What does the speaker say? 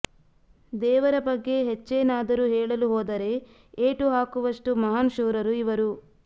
ದೇವರ ಬಗ್ಗೆ ಹೆಚ್ಚೇನಾದರೂ ಹೇಳಲು ಹೋದರೆ ಏಟು ಹಾಕುವಷ್ಟು ಮಹಾನ್ ಶೂರರು ಇವರು